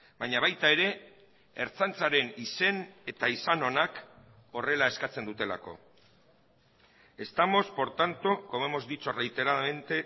baina baita ere ertzaintzaren izen eta izan onak horrela eskatzen dutelako estamos por tanto como hemos dicho reiteradamente